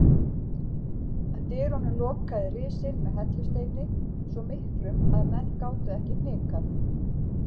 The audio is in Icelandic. Dyrunum lokaði risinn með hellusteini svo miklum að menn gátu ekki hnikað.